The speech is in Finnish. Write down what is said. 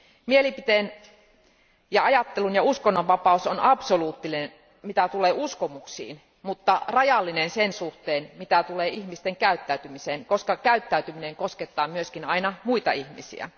Mielipiteen ja ajattelun ja uskonnon vapaus on absoluuttinen mitä tulee uskomuksiin, mutta rajallinen sen suhteen, mitä tulee ihmisten käyttäytymiseen, koska käyttäytyminen koskettaa myös aina muita ihmisiä.